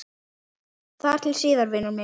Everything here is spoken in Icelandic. Þar til síðar, vinur minn.